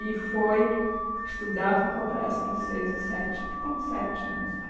E foi estudar, ficou parece que uns seis a sete, ficou uns sete anos lá.